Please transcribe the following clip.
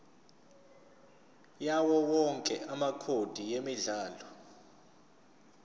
yawowonke amacode emidlalo